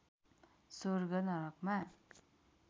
स्वर्ग नरकमा